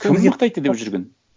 кім мықты айтты деп жүрген